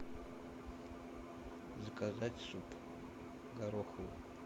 заказать суп гороховый